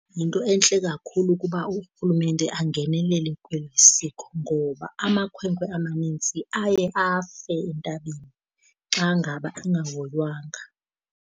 Yinto entle kakhulu ukuba urhulumente angenelele kweli siko, ngoba amakhwenkwe amanintsi aye afe entabeni xa ngaba engahoywanga.